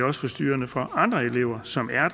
også forstyrrende for andre elever som er